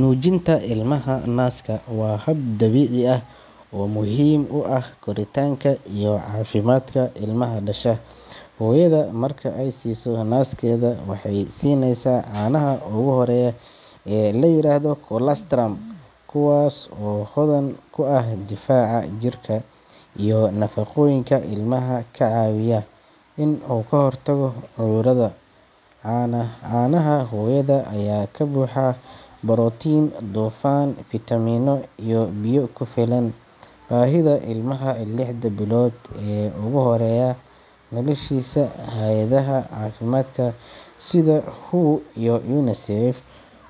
Nuujinta ilmaha naaska waa hab dabiici ah oo muhiim u ah koritaanka iyo caafimaadka ilmaha dhasha. Hooyada marka ay siiso naaskeeda, waxay siinaysaa caanaha ugu horeeya ee la yiraahdo colostrum, kuwaas oo hodan ku ah difaaca jirka iyo nafaqooyinka ilmaha ka caawiya inuu ka hortago cudurada. Caanaha hooyada ayaa ka buuxa borotiin, dufan, fiitamiino iyo biyo ku filan baahida ilmaha lixda bilood ee ugu horeeya noloshiisa. Hay’adaha caafimaadka sida WHO iyo UNICEF